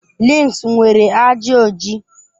Links nwere ajị oji.